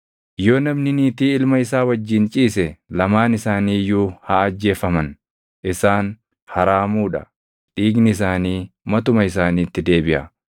“ ‘Yoo namni niitii ilma isaa wajjin ciise lamaan isaanii iyyuu haa ajjeefaman. Isaan haraamuu dha; dhiigni isaanii matuma isaaniitti deebiʼa.